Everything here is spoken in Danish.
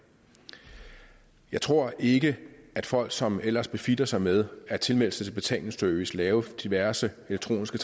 jeg tror ikke at folk som ellers beflitter sig med at tilmelde sig betalingsservice og lave diverse elektroniske